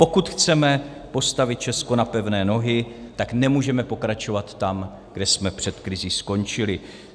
Pokud chceme postavit Česko na pevné nohy, tak nemůžeme pokračovat tam, kde jsme před krizí skončili.